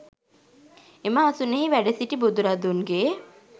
එම අසුනෙහි වැඩ සිටි බුදුරදුන්ගේ